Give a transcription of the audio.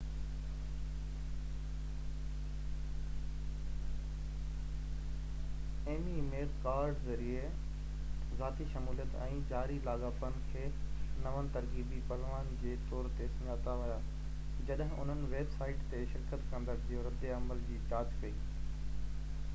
ايگمي ۽ ميڪ ڪارڊ ذريعي ذاتي شموليت ۽ جاري لاڳاپن کي نون ترغيبي پهلون جي طور تي سڃاتا ويا جڏهن انهن ويب سائيٽ تي شرڪت ڪندڙن جي رد عمل جي جاچ ڪئي